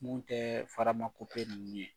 Mun tɛ ninnu ye